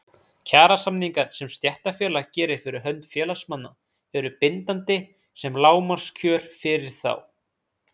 Kjarasamningarnir sem stéttarfélag gerir fyrir hönd félagsmanna eru bindandi sem lágmarkskjör fyrir þá.